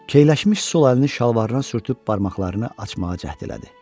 Keyləşmiş sol əlini şalvarına sürtüb barmaqlarını açmağa cəhd elədi.